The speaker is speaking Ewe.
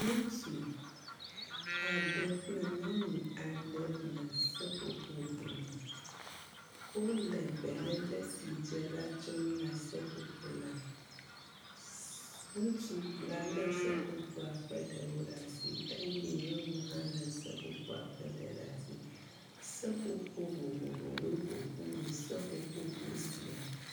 Ŋutsu aɖe kple nyɔnu aɖe le seƒoƒobɔme. Wole belele si dze la tsɔm na seƒoƒo la. S….ŋutsu la lé seƒoƒoa ƒe ɖewo ɖe asi eye nyɔnu hã lé seƒoƒo la ƒe ɖe ɖe asi. Seƒoƒo vovovowo ƒoƒu wɔ seƒoƒo bɔ sia.